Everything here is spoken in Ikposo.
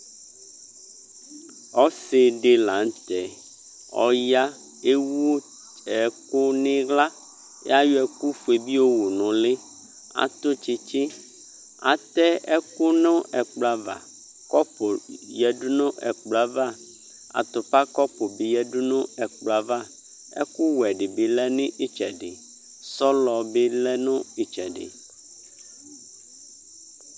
Ɔsɩ dɩ la nʊtɛ Ɔya Ewu ɛkʊ nʊ iɣla Layɔ ɛkʊ foe bɩ yowu nʊ ʊlɩ Atʊ tsitsi Atɛ ɛkʊ nʊ ɛkplɔ ava Kɔpʊ yǝdu nʊ ɛkplɔ yɛ ava Atupa kɔpʊ bɩ yǝdu nʊ ɛkplɔ yɛ ava Ɛkʊwɛ dɩbɩ lɛ nʊ ɩtsɛdɩ Sɔlɔ bɩ lɛ nʊ ɩtsɛdɩ